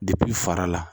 fara la